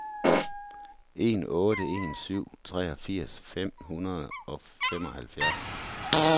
en otte en syv treogfirs fem hundrede og femoghalvfjerds